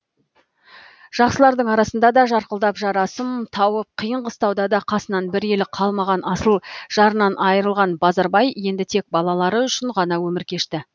жақсылардың арасында да жарқылдап жарасым тауып қиын қыстауда да қасынан бір елі қалмаған асыл жарынан айырылған базарбай енді тек балалары үшін ғана өмір кешті